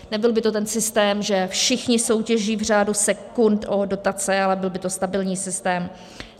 Nebyl by to ten systém, že všichni soutěží v řádu sekund o dotace, ale byl by to stabilní systém.